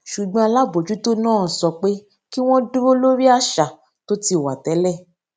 ṣùgbọn alábòjútó náà sọ pé kí wón dúró lórí àṣà tí ó ti wà tẹlẹ